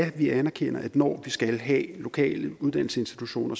at vi anerkender at når vi skal have lokale uddannelsesinstitutioner